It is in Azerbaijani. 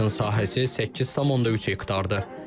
Parkın sahəsi 8,3 hektardır.